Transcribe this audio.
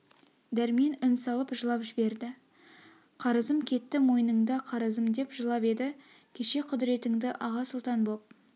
дәрмен үн салып жылап жіберді қарызым кетті мойныңда қарызым деп жылап еді кеше құдретіңді аға-сұлтан боп